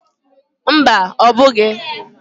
Mba ọ bughi